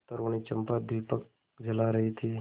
तरूणी चंपा दीपक जला रही थी